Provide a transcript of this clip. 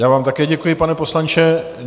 Já vám také děkuji, pane poslanče.